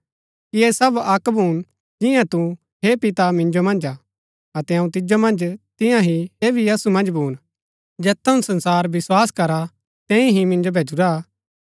कि ऐह सब अक्क भून जिंआ तू हे पिता मिन्जो मन्ज हा अतै अऊँ तिजो मन्ज तियां ही ऐह भी असु मन्ज भून जैत थऊँ संसार विस्वास करा तैंई ही मिन्जो भैजूरा हा